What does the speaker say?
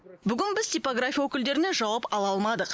бүгін біз типография өкілдерінен жауап ала алмадық